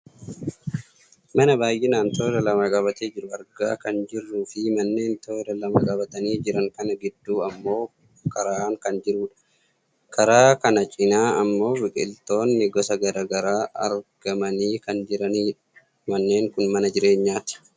mana baayyinaan toora lama qabatee jiru argaa kan jirruufi manneen toora lama qabatanii jiran kana gidduu ammoo karaan kan jirudha. karaa kana cinaa ammoo biqiltoonni gosa gara garaa argamanii kan jiranidha. manneen kun mana jireenyaati.